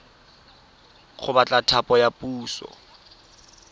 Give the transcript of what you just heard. go batla thapo ya puso